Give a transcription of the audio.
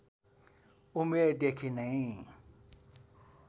उमेरदेखि नै